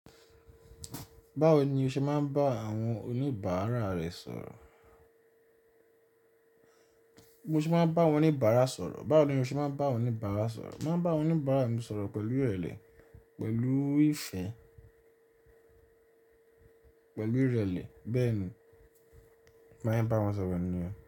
Báwo ni o ṣe máa ń bá àwọn oníbàárà rẹ sọ̀rọ̀? Mo ṣe máa ń bá àwọn oníbàárà sọ̀rọ̀. Báwo ni o ṣe máa ń bá àwọn oníbàárà sọ̀rọ̀? Mo máa ń bá àwọn oníbàárà mi sọ̀rọ̀ pẹ̀lú ìrẹ̀lẹ̀, pẹ̀lú ìfẹ́, pẹ̀lú ìrẹ̀lẹ̀. Bẹ́ẹ̀ ni, màá ń bá wọn sọ̀rọ̀ pẹ̀lú níyen.